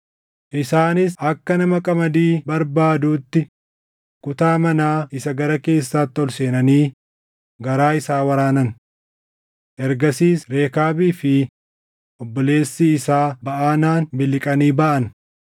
Isaanis akka nama qamadii barbaaduutti kutaa manaa isa gara keessaatti ol seenanii garaa isaa waraanan. Ergasiis Rekaabii fi obboleessi isaa Baʼanaan miliqanii baʼan.